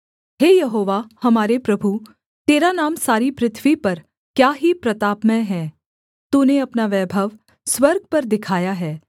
हे यहोवा हमारे प्रभु तेरा नाम सारी पृथ्वी पर क्या ही प्रतापमय है तूने अपना वैभव स्वर्ग पर दिखाया है